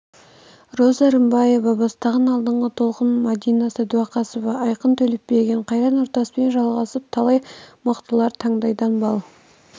роза рымбаева бастаған алдыңғы толқын мәдина садуақасова айқын төлепберген қайрат нұртаспен жалғасып талай мықтылар таңдайдан бал